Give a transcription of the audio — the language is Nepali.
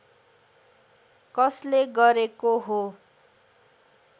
कसले गरेको हो